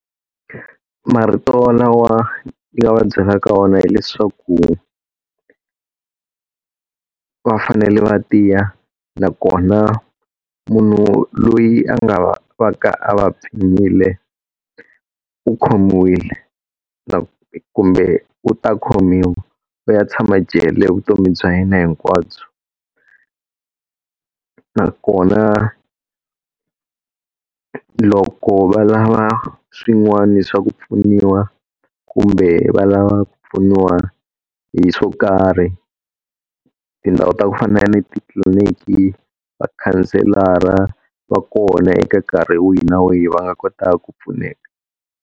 Marito walawa ya va byelaka wona hileswaku va fanele va tiya, nakona munhu loyi a nga va va ka a va pfinyile u khomiwile kumbe u ta khomiwa u ya tshama jele vutomi bya yena hinkwabyo. Nakona loko va lava swin'wana swa ku pfuniwa kumbe va lava ku pfuniwa hi swo karhi, tindhawu ta ku fana ni titliliniki, vakhanselara va kona eka nkarhi wihi na wihi va nga kota ku pfuneka.